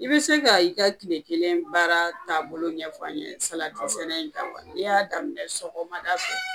I bi se ka i ka kile kelen baara taabolo ɲɛf'an ɲe salati sɛnɛ in kan, n'i y'a daminɛ sɔgɔmada fɛ